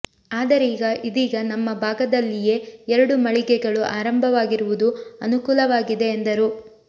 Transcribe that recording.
ಆದರೀಗ ಇದೀಗ ನಮ್ಮ ಭಾಗ ದಲ್ಲಿಯೇ ಎರಡು ಮಳಿಗೆಗಳು ಆರಂಭವಾಗಿರುವುದು ಅನುಕೂಲವಾಗಿದೆ ಎಂದರು